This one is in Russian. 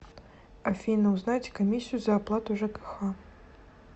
афина узнать комиссию за оплату жкх